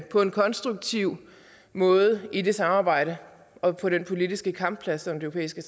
på en konstruktiv måde i det samarbejde og på den politiske kampplads som det